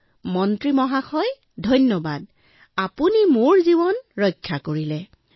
তেনালী ৰামৰ ভৰিত পৰি ৰান্ধনিয়ে কলে আপুনি মোৰ প্ৰাণ ৰক্ষা কৰিলে